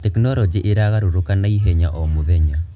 Tekinoronjĩ ĩragarũrũka nauhenya o mũthenya.